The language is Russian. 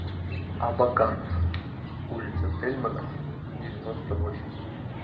абакан улица тельмана девяносто восемь